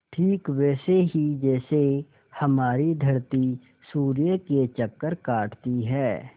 ठीक वैसे ही जैसे हमारी धरती सूर्य के चक्कर काटती है